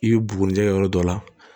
I bɛ buguni jɛ yɔrɔ dɔ la